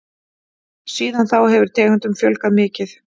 Síðan þá hefur tegundum fjölgað mikið.